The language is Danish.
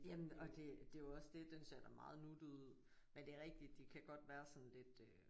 Jamen og det det er jo også det den ser da meget nuttet ud men det er rigtigt det kan godt være sådan lidt øh